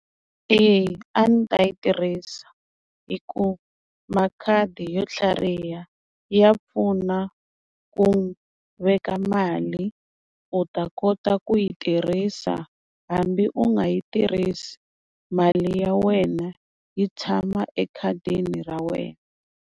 Eya a ndzi ta yi tirhisa hi ku makhadi yo tlhariha ya pfuna ku veka mali u ta kota ku yi tirhisa hambi u nga yi tirhisi mali ya wena yi tshama ekhadini ra wena.